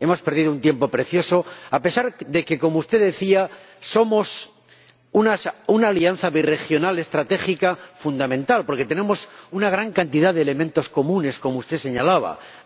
Hemos perdido un tiempo precioso a pesar de que, como usted decía, somos una alianza birregional estratégica fundamental porque tenemos una gran cantidad de elementos comunes —como